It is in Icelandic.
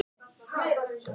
Fór með hann heim.